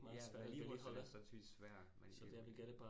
Ja vedligeholdelse er sandsynligvis svært men